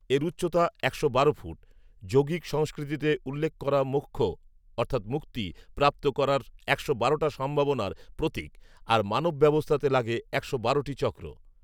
এর উচ্চতা, একশো বারো ফুট, যোগীক সংস্কৃতিতে উল্লেখ করা মোক্ষ অর্থাৎ মুক্তি প্ৰাপ্ত করার একশো বারোটা সম্ভাবনার প্ৰতীক, আর মানব ব্যবস্থাতে লাগে একশো বারোটি চক্ৰ